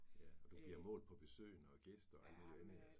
Ja, og du bliver målt på besøgende og gæster og alt muligt andet altså